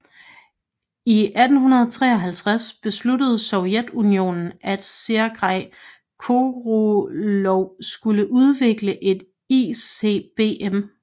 I 1953 besluttede Sovjetunionen at Sergej Koroljov skulle udvikle et ICBM